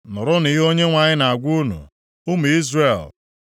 Nụrụnụ ihe Onyenwe anyị na-agwa unu, ụmụ Izrel.